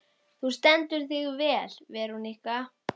Þú stendur þig vel, Verónika!